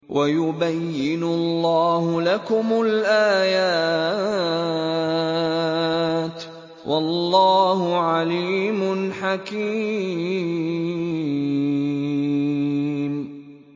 وَيُبَيِّنُ اللَّهُ لَكُمُ الْآيَاتِ ۚ وَاللَّهُ عَلِيمٌ حَكِيمٌ